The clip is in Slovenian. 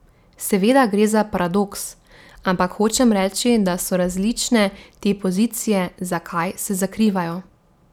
Seveda gre za paradoks, ampak hočem reči, da so različne te pozicije zakaj se zakrivajo.